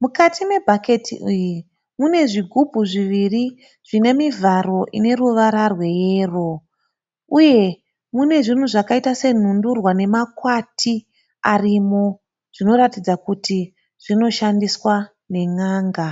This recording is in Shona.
Mukati me bhaketi iri mune zvigubhu zviviri zvine mivharo ine ruvara rwe yero . Uye mune zvinhu zvakaita senhundurwa nemakwati arimo, zvinoratidza kuti zvinoshandiswa ne n"anga.